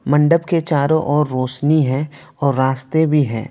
मंडप के चारों ओर रोशनी है और रास्ते भी है।